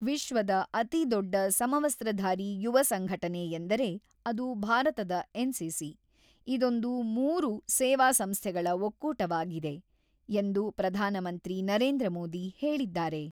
ವಿಶ್ವದ ಅತಿ ದೊಡ್ಡ ಸಮವಸ್ತಧಾರಿ ಯುವ ಸಂಘಟನೆ ಎಂದರೆ ಅದು ಭಾರತದ ಎನ್‌ಸಿಸಿ, ಇದೊಂದು ಮೂರು ಸೇವಾ ಸಂಸ್ಥೆಗಳ ಒಕ್ಕೂಟವಾಗಿದೆ ಎಂದು ಪ್ರಧಾನ ಮಂತ್ರಿ ನರೇಂದ್ರ ಮೋದಿ ಹೇಳಿದ್ದಾರೆ.